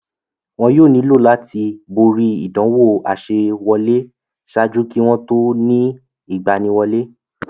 Wọn yóò nílò láti borí ìdánwò àsewọlé ṣáájú kí wọ́n tó ó ni ìgbaniwọlé.